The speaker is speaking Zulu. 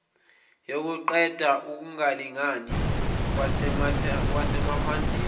yokuqeda ukungalingangani kwasemaphandleni